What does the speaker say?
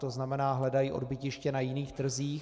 To znamená, hledají odbytiště na jiných trzích.